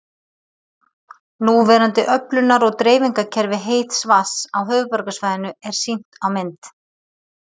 Núverandi öflunar- og dreifingarkerfi heits vatns á höfuðborgarsvæðinu er sýnt á mynd